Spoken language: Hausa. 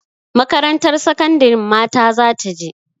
Makarantar sakandarin mata za ta je.